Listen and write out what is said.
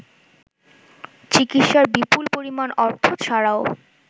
চিকিৎসার বিপুল পরিমাণ অর্থ ছাড়াও